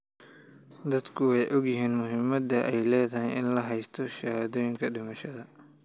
Dadku way ogyihiin muhiimadda ay leedahay in la haysto shahaadooyinka dhimashada.